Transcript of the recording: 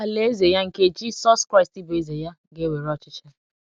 Alaeze Ya, nke Jisọs Kraịst bụ Eze ya, ga - ewere ọchịchị.